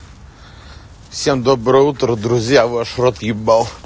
всем доброе утро друзья ваш рот ебал